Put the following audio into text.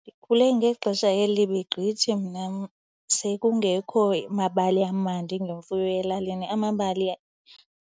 Ndikhule ngexesha elibi gqithi mna sekungekho mabali amandi ngemfuyo elalini. Amabali